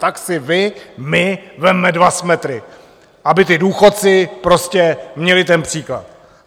Tak si vy, my vezměme dva svetry, aby ti důchodci prostě měli ten příklad.